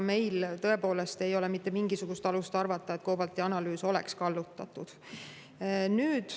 Meil ei ole tõepoolest mitte mingisugust alust arvata, et COBALT‑i analüüs oleks kallutatud.